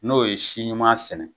N'o ye siɲuman sɛnɛ